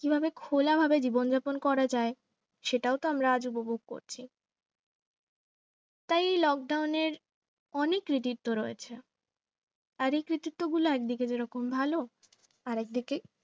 কিভাবে খোলা ভাবে জীবন যাপন করা যায় সেটাও তো আমরা আজ উপভোগ করছি তা এই lockdown এর অনেক কৃতিত্ব রয়েছে আর এই কৃতিত্ব গুলো এক দিকে যেরকম ভালো আর একদিকে